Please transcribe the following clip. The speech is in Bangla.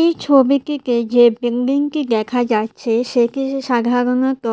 এই ছবিটিতে যে বিল্ডিংটি দেখা যাচ্ছে সেটি সাধারণত